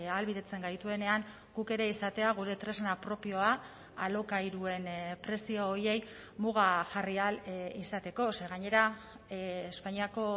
ahalbidetzen gaituenean guk ere izatea gure tresna propioa alokairuen prezio horiei muga jarri ahal izateko ze gainera espainiako